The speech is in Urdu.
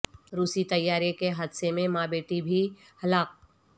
روسی طیارے کے حادثے میں ماں بیٹی بھی ہلاک